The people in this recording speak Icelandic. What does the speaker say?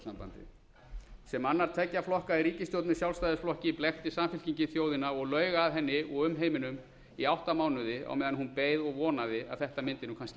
evrópusambandið sem annar tveggja flokka í ríkisstjórn með sjálfstæðisflokki blekkti samfylkingin þjóðina og laug að henni og umheiminum i átta mánuði á meðan hún beið og vonaði að þetta mundi nú kannski